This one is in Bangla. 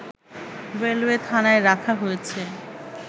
রেলওয়ে থানায় রাখা হয়েছে